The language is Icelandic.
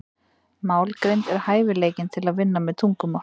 Málgreind er hæfileikinn til að vinna með tungumál.